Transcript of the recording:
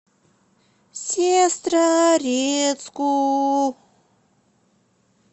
сестрорецку